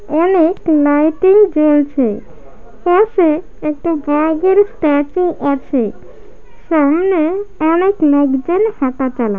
অনেক লাইটিং জ্বলছে পাশে একটি বাঘের স্ট্যাচু আছে সামনে অনেক লোকজন হাঁটাচলা--